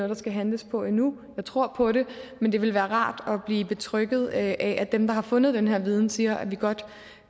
der skal handles på endnu jeg tror på det men det ville være rart at blive betrygget af at at dem der har fundet den her viden siger at vi godt